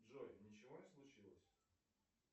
джой ничего не случилось